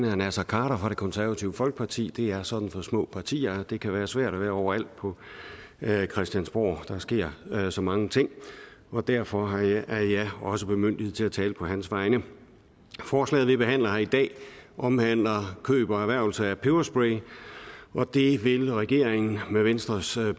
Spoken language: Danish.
herre naser khader fra det konservative folkeparti det er sådan for små partier at det kan være svært at være overalt på christiansborg der sker så mange ting og derfor er jeg også bemyndiget til at tale på hans vegne forslaget vi behandler her i dag omhandler køb og erhvervelse af peberspray og det vil regeringen med venstres